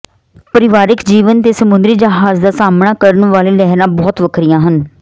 ਪਰਿਵਾਰਕ ਜੀਵਨ ਦੇ ਸਮੁੰਦਰੀ ਜਹਾਜ਼ ਦਾ ਸਾਹਮਣਾ ਕਰਨ ਵਾਲੇ ਲਹਿਰਾਂ ਬਹੁਤ ਵੱਖਰੀਆਂ ਹਨ